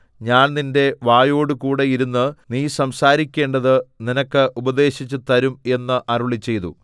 ഞാൻ നിന്റെ വായോടുകൂടെ ഇരുന്ന് നീ സംസാരിക്കേണ്ടത് നിനക്ക് ഉപദേശിച്ചു തരും എന്ന് അരുളിച്ചെയ്തു